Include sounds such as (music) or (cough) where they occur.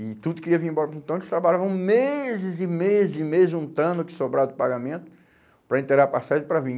E tudo queria vir embora (unintelligible) então eles trabalhavam meses e meses e meses juntando o que sobrava do pagamento para inteirar a passagem para vir.